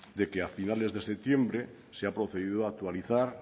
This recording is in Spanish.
de que a finales de septiembre se ha procedido a actualizar